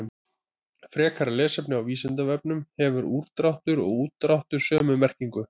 Frekara lesefni á Vísindavefnum: Hefur úrdráttur og útdráttur sömu merkingu?